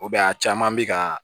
a caman bi kaa